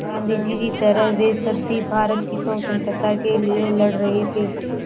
गाँधी जी की तरह वे सब भी भारत की स्वतंत्रता के लिए लड़ रहे थे